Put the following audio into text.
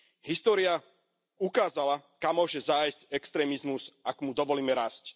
História ukázala, kam môže zájsť extrémizmus, ak mu dovolíme rásť.